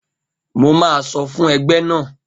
Mo máa sọfún ẹgbẹ́ náà.